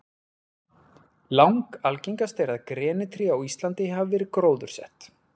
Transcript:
Langalgengast er að grenitré á Íslandi hafi verið gróðursett.